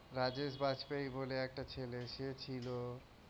রাজেশ বাজপাই বলে একটা ছেলে সে ছিল,